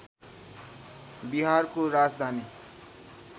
बिहारको राजधानी